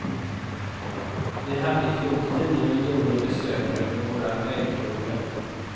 Vi hade i fjol tio miljoner besökare på våra vägkrogar.